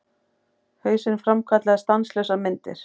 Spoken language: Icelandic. Hausinn framkallaði stanslausar myndir.